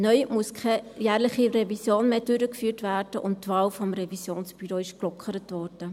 Neu muss keine jährliche Revision mehr durchgeführt werden, und die Wahl des Revisionsbüros wurde gelockert.